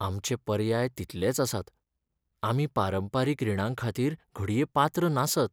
आमचे पर्याय तितलेच आसात! आमी पारंपारीक रीणांखातीर घडये पात्र नासत.